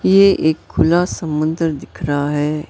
ये एक खुला समुंद्र दिख रहा है।